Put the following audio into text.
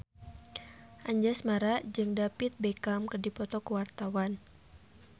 Anjasmara jeung David Beckham keur dipoto ku wartawan